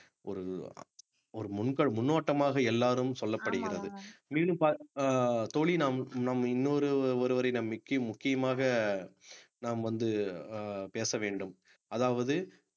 ஒரு ஒரு முன்னோ~ முன்னோட்டமாக எல்லாரும் சொல்லப்படுகிறது மீண்டும் ப~ அஹ் தோழி நம் நம் இன்னொரு ஒருவரிடம் முக்கியமாக நாம் வந்து அஹ் பேச வேண்டும் அதாவது